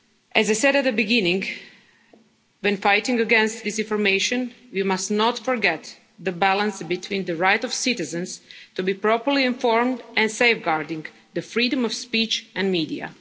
activities. As I said at the beginning, when fighting disinformation we must not forget the balance between the right of citizens to be properly informed and safeguarding the freedom of speech